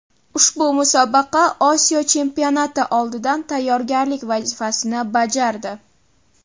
Ushbu musobaqa Osiyo chempionati oldidan tayyorgarlik vazifasini bajardi.